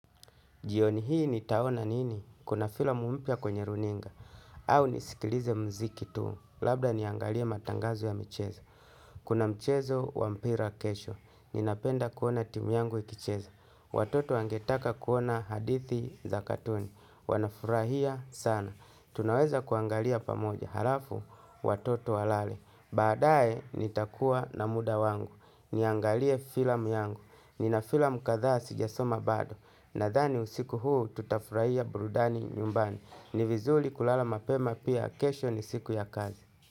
Jioni hii nitaona nini? Kuna filamu mpya kwenye runinga, au nisikilize mziki tu. Labda niangalie matangazo ya michezo. Kuna mchezo wa mpira kesho. Ninapenda kuona timu yangu ikicheza. Watoto wangetaka kuona hadithi za katuni. Wanafurahia sana. Tunaweza kuangalia pamoja halafu watoto walale. Baadaye nitakuwa na muda wangu. Niangalie filamu yangu. Nina filamu kadhaa sijasoma bado. Nadhani usiku huu tutafurahia burudani nyumbani. Ni vizuri kulala mapema pia kesho ni siku ya kazi.